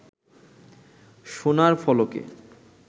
সোনার ফলকে